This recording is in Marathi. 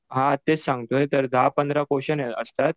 हां तेच सांगतोय दहा पंधरा क्वेश्चन असतात.